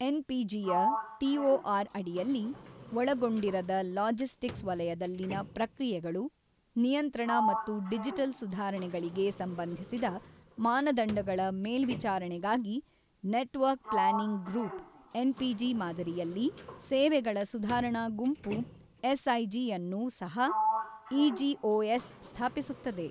ಎನ್ಪಿಜಿಯ TOR ಅಡಿಯಲ್ಲಿ ಒಳಗೊಂಡಿರದ logistics ವಲಯದಲ್ಲಿನ ಪ್ರಕ್ರಿಯೆಗಳು, ನಿಯಂತ್ರಣ ಮತ್ತು ಡಿಜಿಟಲ್ ಸುಧಾರಣೆಗಳಿಗೆ ಸಂಬಂಧಿಸಿದ ಮಾನದಂಡಗಳ ಮೇಲ್ವಿಚಾರಣೆಗಾಗಿ ನೆಟ್ವರ್ಕ್ ಪ್ಲಾನಿಂಗ್ ಗ್ರೂಪ್ ಎನ್ಪಿಜಿ ಮಾದರಿಯಲ್ಲಿ ಸೇವೆಗಳ ಸುಧಾರಣಾ ಗುಂಪು ಎಸ್ಐಜಿ ಅನ್ನು ಸಹ ಇಜಿಒಎಸ್ ಸ್ಥಾಪಿಸುತ್ತದೆ.